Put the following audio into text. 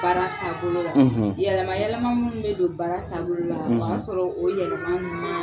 Baara taabolo; ; Yɛlɛma yɛlɛma minnu bɛ don baara taabolo la; ; o y'a sɔrɔ o yɛlɛma